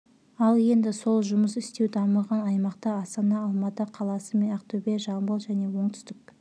ал енді сол жұмыс істеу дамыған аймақты астана алматы қаласы мен ақтөбе жамбыл және оңтүстік